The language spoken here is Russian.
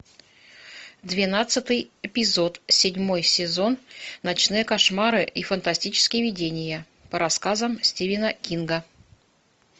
двенадцатый эпизод седьмой сезон ночные кошмары и фантастические видения по рассказам стивена кинга